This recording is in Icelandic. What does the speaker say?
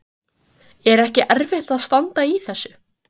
Magnús Hlynur Hreiðarsson: Er ekki erfitt að standa í þessu?